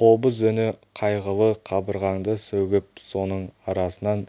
қобыз үні қайғылы қабырғаңды сөгіп соның арасынан